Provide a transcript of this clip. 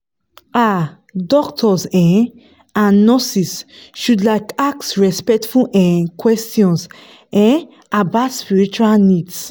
ah doctors um and nurses should like ask respectful um questions um about spiritual needs